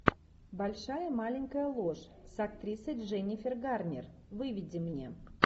большая маленькая ложь с актрисой дженнифер гарнер выведи мне